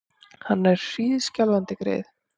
Hann er hríðskjálfandi, greyið!